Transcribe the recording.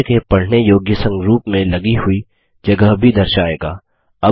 यह मनुष्य के पढने योग्य संरूप में लगी हुई जगह भी दर्शाएगा